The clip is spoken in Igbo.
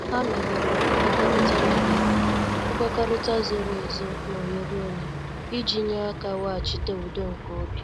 Ha mebere nkwekọrịta mebere nkwekọrịta zoro ezo na oghere onye, iji nye aka weghachite udo nke obi.